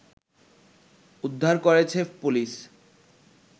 উদ্ধার করেছে পুলিশ